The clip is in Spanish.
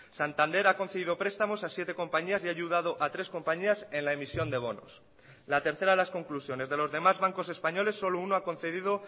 santander ha concedido prestamos a siete compañías y ha ayudado a tres compañías en la emisión de bonos la tercera de las conclusiones de los demás bancos españoles solo uno ha concedido